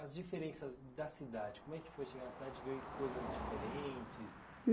As diferenças da cidade, como é que foi chegar na cidade e ver coisas diferentes?